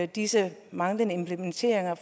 disse manglende implementeringer